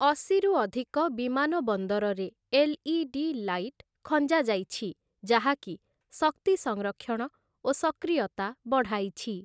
ଅଶିରୁ ଅଧିକ ବିମାନ ବନ୍ଦରରେ ଏଲ୍‌.ଇ.ଡି. ଲାଇଟ୍ ଖଞ୍ଜାଯାଇଛି ଯାହାକି ଶକ୍ତି ସଂରକ୍ଷଣ ଓ ସକ୍ରିୟତା ବଢ଼ାଇଛି ।